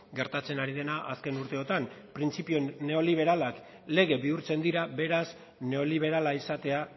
gertatzen ari dena azken urteotan printzipio neoliberalak lege bihurtzen dira beraz neoliberala izatea